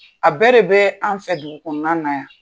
A bɛɛ de bɛ an fɛ dugu kɔnɔna na yan.